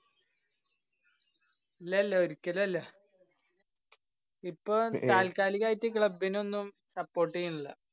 ല്ല ല്ലാ ഒരിക്കലും അല്ല. ഇപ്പോ താല്‍ക്കാലികായിട്ട് club നൊന്നും support ചെയ്യണില്ല.